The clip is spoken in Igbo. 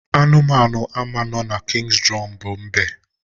Anụmanụ ama no na King's Drum bu mbe